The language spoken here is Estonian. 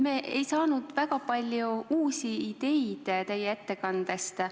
Me ei saanud väga palju uusi ideid teie ettekandest.